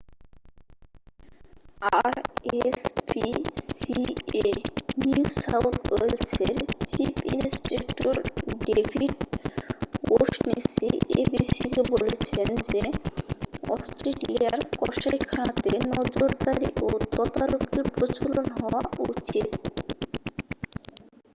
rspca New South ওয়েলসের chief inspector David O'Shaughnessy abc-কে বলেছেন যে অস্ট্রেলিয়ার কসাইখানাতে নজরদারি ও তদারকির প্রচলন হওয়া উচিত।